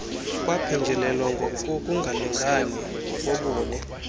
kwaphenjelelwa kukungalingani ngokobuni